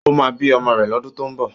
Ó máa bí ọmọ rẹ̀ lọ́dún tó ń bọ̀.